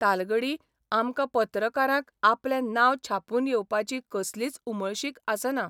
तालगडी आमकां पत्रकारांक आपलें नांव छापून येवपाची कसलीच उमळशीक आसना.